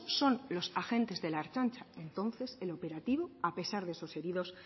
son los agentes de la ertzaintza entonces el operativo a pesar de esos heridos